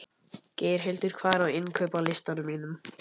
Geirhildur, hvað er á innkaupalistanum mínum?